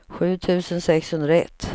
sju tusen sexhundraett